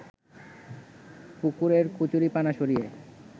পুকুরের কচুরিপানা সরিয়ে